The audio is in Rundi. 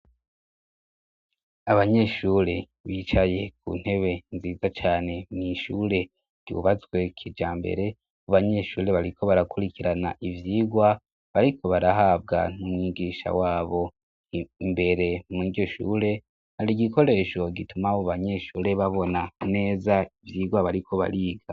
Abanyeshure bicaye ku ntebe nziza cane n'ishure ryubatswe kijambere. Abanyeshure bariko barakurikirana ivyigwa bariko barahabwa n'umwigisha wabo imbere muryo shure hari gikoresho gitumaho banyeshure babona neza ivyigwa bariko bariga.